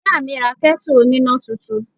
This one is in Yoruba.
Ìyá mi ra ketu oníná túntún.